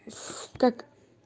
и в как